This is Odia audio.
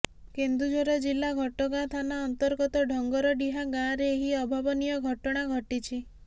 କେନ୍ଦୁଝର ଜିଲ୍ଲା ଘଟଗାଁ ଥାନା ଅର୍ନ୍ତଗତ ଢଙ୍ଗରଡିହା ଗାଁରେ ଏହି ଅଭାବନୀୟ ଘଟଣା ଘଟିଛି